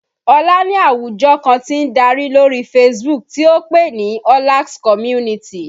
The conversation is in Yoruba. Olá ní àwùjọ kan tí ń darí lórí Facebook tí ó pè ní Ọlax Community